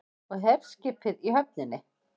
Og herskipið í höfninni.